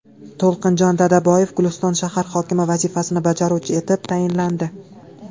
To‘lqinjon Dadaboyev Guliston shahar hokimi vazifasini bajaruvchi etib tayinlandi.